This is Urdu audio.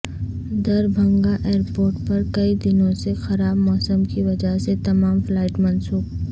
دربھنگہ ایئرپورٹ پر کئی دنوں سے خراب موسم کی وجہ سے تمام فلائٹس منسوخ